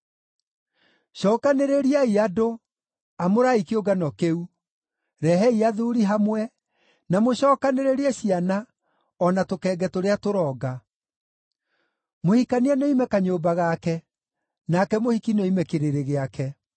Cookanĩrĩriai andũ, amũrai kĩũngano kĩu; rehei athuuri hamwe, na mũcookanĩrĩrie ciana, o na tũkenge tũrĩa tũronga. Mũhikania nĩoime kanyũmba gake, nake mũhiki nĩoime kĩrĩrĩ gĩake.